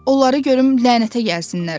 Onları görüm lənətə gəlsinlər!